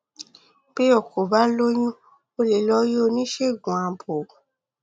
bí o kò bá lóyún o lè lọ rí oníṣègùn abo